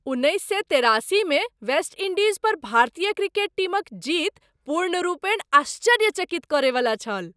उन्नैस सए तेरासीमे वेस्ट इंडीज़ पर भारतीय क्रिकेट टीमक जीत पूर्णरूपेण आश्चर्यचकित करयवला छल!